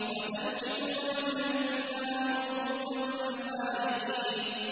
وَتَنْحِتُونَ مِنَ الْجِبَالِ بُيُوتًا فَارِهِينَ